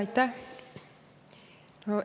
Aitäh!